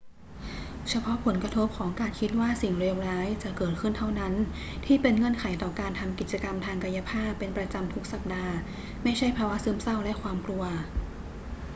เฉพาะผลกระทบของการคิดว่าสิ่งเลวร้ายจะเกิดขึ้นเท่านั้นที่เป็นเงื่อนไขต่อการทำกิจกรรมทางกายภาพเป็นประจำทุกสัปดาห์ ไม่ใช่ภาวะซึมเศร้าและความกลัว